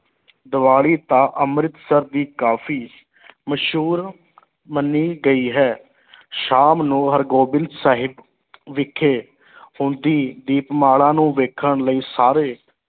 ਦੀਵਾਲੀ ਤਾਂ ਅੰਮ੍ਰਿਤਸਰ ਦੀ ਕਾਫੀ ਮਸ਼ਹੂਰ ਮੰਨੀ ਗਈ ਹੈ ਸ਼ਾਮ ਨੂੰ ਹਰਿਗੋਬਿੰਦ ਸਾਹਿਬ ਵਿਖੇ ਹੁੰਦੀ ਦੀਪਮਾਲਾ ਨੂੰ ਵੇਖਣ ਲਈ ਸਾਰੇ